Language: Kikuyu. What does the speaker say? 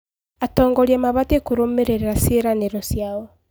Atongoria mabatiĩ kũrũmĩrĩra ciĩranĩro ciao.